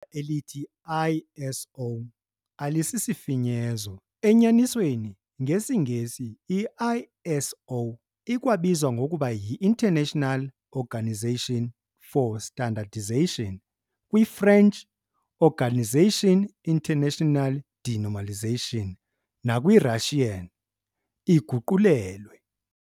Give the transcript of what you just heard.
elithi "ISO" alisisifinyezo, enyanisweni ngesiNgesi i ISO ikwabizwa ngokuba yiInternational "Organisation for Standardization", kwiFrench "Organisation internationale de normalization" nakwi-Russian iguqulelwe.